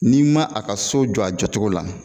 N'i ma a ka so jɔ a jacogo la